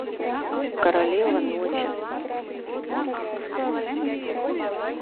королева ночи